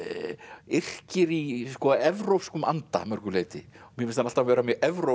yrkir í evrópskum anda að mörgu leyti mér finnst hann alltaf vera mjög evrópskt